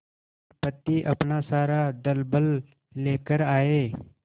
विपत्ति अपना सारा दलबल लेकर आए